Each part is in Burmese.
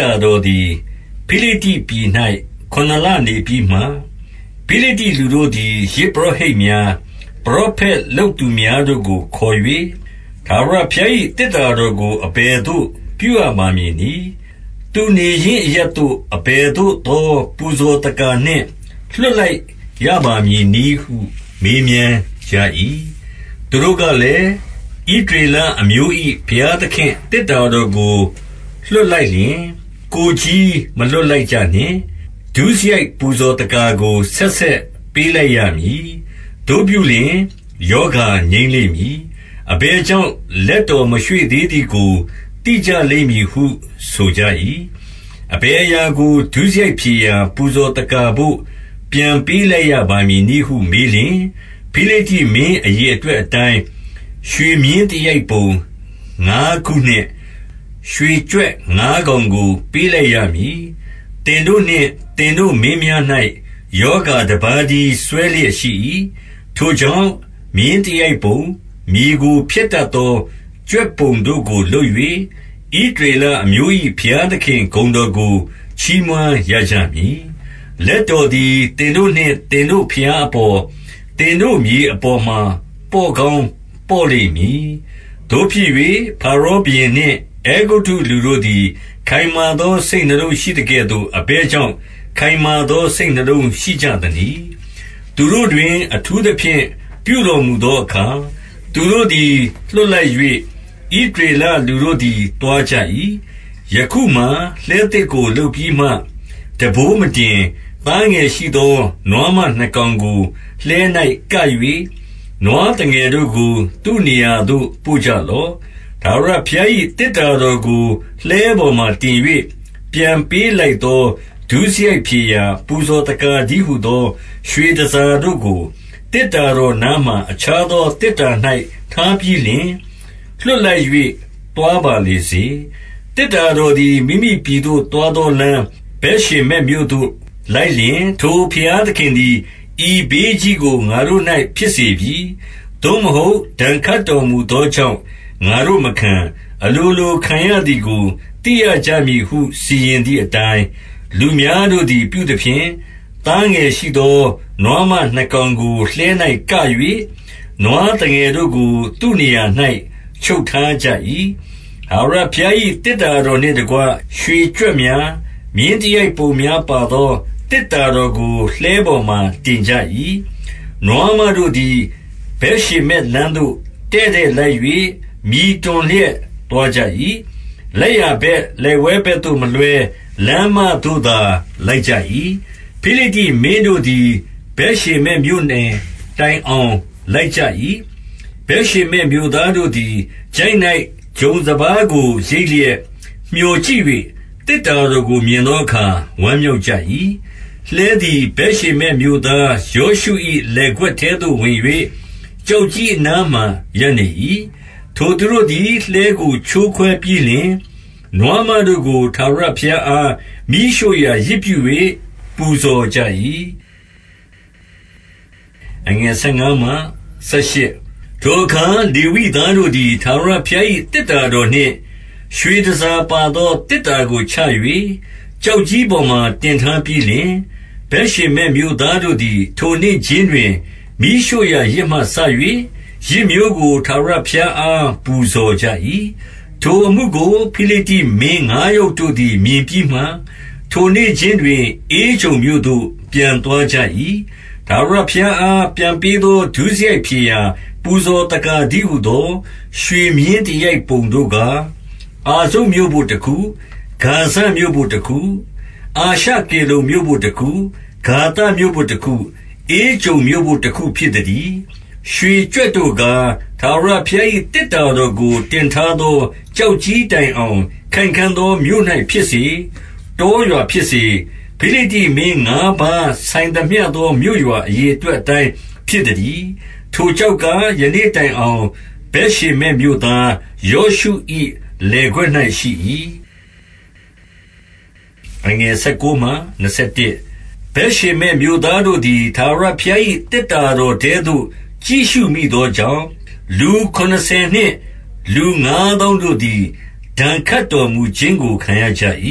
တာတော်သည် ဖိလိတ္တိပြည်၌ ခုနှစ်လနေပြီးမှ၊ 2 ဖိလိတ္တိလူတို့သည် ယဇ်ပုရောဟိတ်များ၊ ပရောဖက်လုပ်သူများတို့ကို ခေါ်၍ ထာဝရဘုရား၏ သေတ္တာ တော်ကို အဘယ်သို့ ပြုရပါမည်နည်း။ သူနေရင်းအရပ်သို့ အဘယ်သို့သော ပူဇော်သက္ကာနှင့် လွှတ် လိုက်ရပါမည်နည်းဟု မေးမြန်းကြ၏။ 3 သူတို့ကလည်း၊ ဣသရေလအမျိုး၏ ဘုရားသခင့်သေတ္တာတော်ကို လွှတ်လိုက်လျှင် ကိုယ်ချည်း မလွှတ် လိုက်ကြနှင့်။ ဒုစရိုက်ပူဇော်သက္ကာကို ဆက်ဆက် ပေးလိုက်ရမည်။ သို့ပြုလျှင် ရောဂါငြိမ်းလိမ့်မည်။ အဘယ်ကြောင့် လက်တော်မရွေ့သေးသည်ကို သိကြလိမ့်မည်ဟု ဆိုကြ၏။ 4 အဘယ်အရာကို ဒုစရိုက်ဖြေရာ ပူဇော်သက္ကာဘို့ ပြန်ပေးလိုက်ရပါမည်နည်းဟု မေးလျှင်၊ ဖိလိတ္တိမင်း အရေအတွက်အတိုင်း ရွှေမြင်းသရိုက်ပုံငါးခုနှင့် ရွှေကြွက်ငါးကောင်ကို ပေးလိုက်ရမည်။ သင်တို့ နှင့် သင်တို့မင်းများ၌ ရောဂါတပါးတည်း စွဲလျက်ရှိ၏။ 5 ထိုကြောင့် မြင်းသရိုက်ပုံ၊ မြေကို ဖျက်တတ်သော ကြွက်ပုံတို့ကို လုပ်၍ ဣသရေလအမျိုး၏ ဘုရားသခင်ဂုဏ်တော်ကို ချီးမွမ်းရကြမည်။ လက်တော်သည် သင်တို့နှင့် သင်တို့ဘုရားအပေါ်၊ သင်တို့မြေအပေါ်မှာ ပေါ့ကောင်းပေါ့လိမ့်မည်။ 6 သို့ဖြစ်၍ ဖာရောဘုရင်နှင့် အဲဂုတ္တုလူတို့သည် ခိုင်မာသော စိတ်နှလုံးရှိသကဲ့သို့ အဘယ်ကြောင့် ခိုင်မာသော စိတ်နှလုံးရှိကြသနည်း။ သူတို့တွင် အထူးသဖြင့် ပြုတော်မူသောအခါ၊ သူတို့သည် လွှတ် လိုက်၍ ဣသရေလလူတို့သည် သွားကြ၏။ 7 ယခုမှာ လှည်းသစ်ကိုလုပ်ပြီးမှ ထမ်းပိုးမတင်၊ သားငယ်ရှိသော နွားမနှစ်ကောင်ကို လှည်း၌ က၍၊ နွားသငယ်တို့ကို သူ့နေရာသို့ ပို့ကြလော့။ 8 ထာဝရဘုရား၏ သေတ္တာတော်ကို လှည်းပေါ်မှာ တင်၍ ပြန်ပေးလိုက်သော ဒုစရိုက်ဖြေရာ ပူဇော် သက္ကာတည်းဟူသော ရွှေတန်ဆာတို့ကို သေတ္တာတော်နားမှာ အခြားသောသေတ္တာ၌ ထားပြီးလျှင် လွှတ်လိုက်၍ သွားပါလေစေ။ 9 သေတ္တာတော်သည် မိမိပြည်သို့ သွားသောလမ်း ဗက်ရှေမက်မြို့သို့လိုက်လျှင်၊ ထိုဘုရားသခင်သည် ဤဘေးကြီးကို ငါတို့၌ ဖြစ်စေပြီ။ သို့မဟုတ် ဒဏ်ခတ်တော်မူသောကြောင့် ငါတို့မခံ၊ အလိုလို ခံရ သည်ကို သိရကြမည်ဟု စီရင်သည်အတိုင်း၊- 10 လူများတို့သည် ပြုသဖြင့်၊ သားငယ်ရှိသော နွားမနှစ်ကောင်ကို လှည်း၌ က၍၊ နွားသငယ်တို့ကို သူ့ နေရာ၌ ချုပ်ထားကြ၏။ 11 ထာဝရဘုရား၏ သေတ္တာတော်နှင့်တကွ ရွှေကြွက်များ၊ မင်းသရိုက်ပုံများပါသော သေတ္တာတော်ကို လှည်းပေါ်မှာ တင်ကြ၏။ 12 နွားမတို့သည် ဗက်ရှေမက်လမ်းသို့ တည့်တည့်လိုက်၍ မြည်တွန်လျက် သွားကြ၏။ လက်ျာဘက် လက်ဝဲဘက်သို့မလွှဲ လမ်းမသို့သာ လိုက်ကြ၏။ ဖိလိတ္တိမင်းတို့သည် ဗက်ရှေမက်မြို့နယ်တိုင်အောင် လိုက်ကြ၏။ 13 ဗက်ရှေမက်မြို့သားတို့သည် ချိုင့်၌ ဂျုံ၊ စပါးကိုရိတ်လျက် မြော်ကြည့်၍ သေတ္တာတော်ကို မြင်သော အခါ ဝမ်းမြောက်ကြ၏။ 14 လှည်းသည် ဗက်ရှေမက်မြို့သား ယောရှု၏ လယ်ကွက်ထဲသို့ ဝင်၍ ကျောက်ကြီးအနားမှာ ရပ်နေ၏။ ထိုသူတို့သည် လှည်းကို ချိုးခွဲပြီးလျှင် နွားမတို့ကို ထာဝရဘုရားအား မီးရှို့ရာယဇ်ပြု၍ ပူဇော်ကြ၏။ 15 ထိုအခါ လေဝိသားတို့သည် ထာဝရဘုရား၏ သေတ္တာတော်နှင့် ရွှေတန်ဆာပါသောသေတ္တာကိုချ၍ ကျောက်ကြီးပေါ်မှာ တင်ထားပြီးလျှင်၊ ဗက်ရှေမက်မြို့သားတို့သည် ထိုနေ့ခြင်းတွင် မီးရှို့ရာယဇ်မှ စ၍ ယဇ်မျိုးကို ထာဝရဘုရားအား ပူဇော်ကြ၏။ 16 ထိုအမှုကို ဖိလိတ္တိမင်းငါးယောက်တို့သည် မြင်ပြီးမှ၊ ထိုနေ့ခြင်းတွင် ဧကြုန်မြို့သို့ ပြန်သွားကြ၏။ 17 ထာဝရဘုရားအား ပြန်ပေးသော ဒုစရိုက်ဖြေရာ ပူဇော်သက္ကာတည်းဟူသော ရွှေမြင်းသရိုက်ပုံတို့ကား၊ အာဇုတ်မြို့ဘို့တခု၊ ဂါဇမြို့ဘို့တခု၊ အာရှကေလုန်မြို့ဘို့တခု၊ ဂါသမြို့ဘို့တခု၊ ဧကြုန်မြို့ဘို့တခု ဖြစ်သတည်း။ 18 ရွှေကြွက်တို့ကား၊ ထာဝရဘုရား၏ သေတ္တာတော်ကို တင်ထားသော ကျောက်ကြီးတိုင်အောင် ခိုင်ခံ့သော မြို့ဖြစ်စေ၊ တောရွာဖြစ်စေ၊ ဖိလိတ္တိမင်းငါးပါးဆိုင်သမျှသော မြို့ရွာအရေအတွက်အတိုင်း ဖြစ်သတည်း။ ထိုကျောက်ကား ယနေ့တိုင်အောင် ဗက်ရှေမက်မြို့သား ယောရှု၏ လယ်ကွက်၌ရှိ၏။ 19 ဗက်ရှေမက်မြို့သားတို့သည် ထာဝရဘုရား၏ သေတ္တာတော်ထဲသို့ ကြည့်ရှုမိသောကြောင့်၊ လူခုနစ်ဆယ်နှင့်လူငါးသောင်းတို့သည် ဒဏ်ခတ်တော်မူခြင်းကို ခံရကြ၏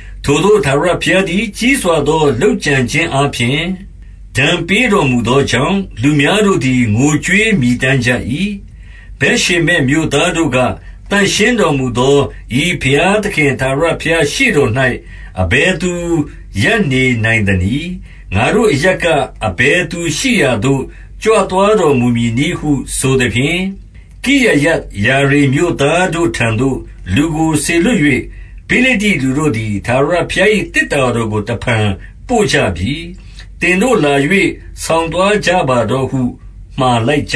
။ ထိုသို့ ထာဝရဘုရားသည် ကြီးစွာသော လုပ်ကြံခြင်းအားဖြင့် ဒဏ်ပေးတော်မူသောကြောင့်၊ လူများတို့သည် ငိုကြွေးမြည်တမ်း ကြ၏။ 20 ဗက်ရှေမက်မြို့သားတို့က၊ သန့်ရှင်းတော်မူသော ဤဘုရားသခင် ထာဝရဘုရားရှေ့တော်၌ အဘယ်သူ ရပ်နေနိုင်သနည်း။ ငါတို့အရပ်က၊ အဘယ်သူရှိရာသို့ ကြွသွားတော်မူမည်နည်းဟု ဆိုသဖြင့်၊- 21 ကိရယတ် ယာရိမ်မြို့သားတို့ထံသို့ လူကိုစေလွှတ်၍ ဖိလိတ္တိလူတို့သည် ထာဝရဘုရား၏ သေတ္တာ တော်ကို တဖန်ပို့ကြပြီ။ သင်တို့လာ၍ ဆောင်သွားကြပါတော့ဟု မှာလိုက်ကြ